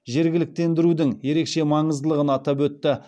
жергіліктендірудің ерекше маңыздылығын атап өтті